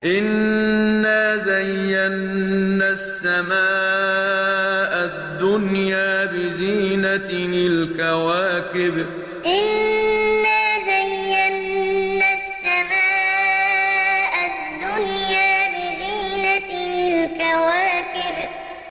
إِنَّا زَيَّنَّا السَّمَاءَ الدُّنْيَا بِزِينَةٍ الْكَوَاكِبِ إِنَّا زَيَّنَّا السَّمَاءَ الدُّنْيَا بِزِينَةٍ الْكَوَاكِبِ